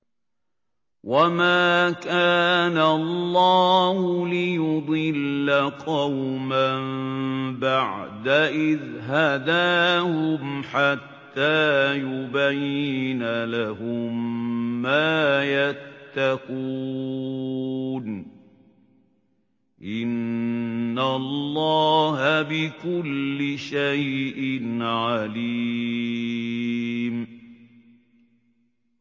وَمَا كَانَ اللَّهُ لِيُضِلَّ قَوْمًا بَعْدَ إِذْ هَدَاهُمْ حَتَّىٰ يُبَيِّنَ لَهُم مَّا يَتَّقُونَ ۚ إِنَّ اللَّهَ بِكُلِّ شَيْءٍ عَلِيمٌ